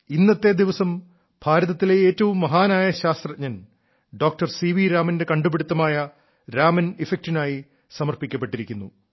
ഇന്നത്തെ ദിവസം ഭാരതത്തിലെ ഏറ്റവും മഹാനായ ശാസ്ത്രജ്ഞൻ ഡോക്ടർ സി വി രാമന്റെ കണ്ടുപിടുത്തമായ രാമൻ ഇഫക്ടിനായി സമർപ്പിക്കപ്പെട്ടിരിക്കുന്നു